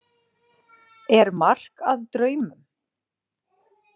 Er mark að draumum?